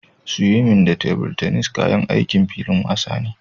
Swing da tebur tennis kayan aikin filin wasa ne